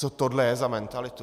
Co tohle je za mentalitu?